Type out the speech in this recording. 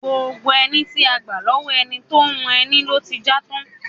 Gbogbo ẹní tí a gbà lọ́wọ́ ẹni tó ń hun ẹni ló ti já tán.